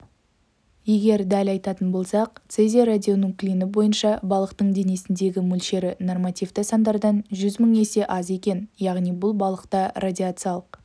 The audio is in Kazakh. егер дәл айтатын болсақ цезий радионуклиді бойынша балықтың денесіндегі мөлшері нормативті сандардан жүз мың есе аз екен яғни бұл балықта радиациялық